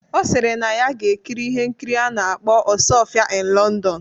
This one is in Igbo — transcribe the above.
Ọ sịrị na ya ga-ekiri ihe nkiri a na-akpọ "Osuofia in London"